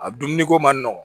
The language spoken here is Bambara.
A dumuniko ma nɔgɔ